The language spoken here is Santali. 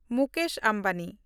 ᱢᱩᱠᱮᱥ ᱟᱢᱵᱟᱱᱤ